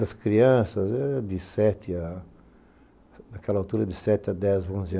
Das crianças, era de sete a... Naquela altura, de sete a dez ou onze